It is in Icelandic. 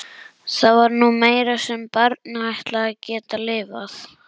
Það var nú meira sem barnið ætlaði að geta lifað.